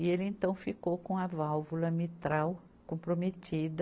E ele então ficou com a válvula mitral comprometida,